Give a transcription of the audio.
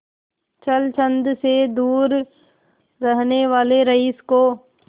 छल छंद से दूर रहने वाले रईस को